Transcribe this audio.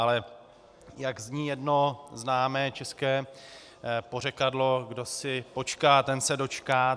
Ale jak zní jedno známé české pořekadlo, kdo si počká, ten se dočká.